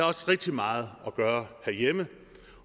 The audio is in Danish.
også rigtig meget at gøre herhjemme